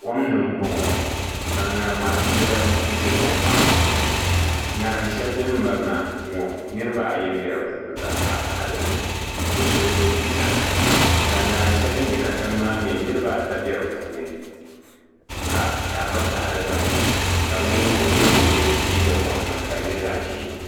Kom ni n boŋo ka ŋarima dibayi bɛ kom maa puuni ŋarim shɛli din mirina ŋo niraba ayi n bɛ di puuni ka piɛɣu taɣa dinni bi so bi yɛ liiga ka ŋarim shɛli din bɛ katiŋ maa mii niraba ata bɛ di puuni ka piɛɣu gba taɣi di gba ni ka bi ninvuɣu yino n yɛ liiga boɣa ŋmahi ka di nyɛ zaɣ ʒiɛ